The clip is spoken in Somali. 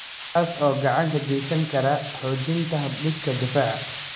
kaas oo gacan ka geysan kara xoojinta habdhiska difaaca.